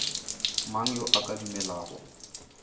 mang yo a ka dumelago